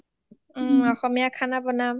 ওমম অসমীয়া খানা বনাম